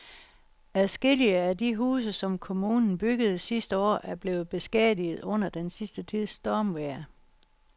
Adskillige af de huse, som kommunen byggede sidste år, er blevet beskadiget under den sidste tids stormvejr.